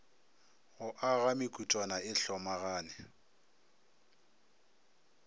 go aga mekutwana e hlomagane